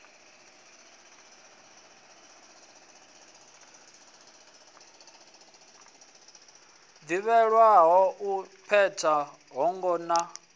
ḓivhelwaho u peta voho na